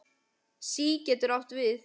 SÍ getur átt við